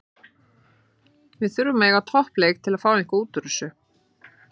Við þurfum að eiga topp leik til að fá eitthvað útúr þessu.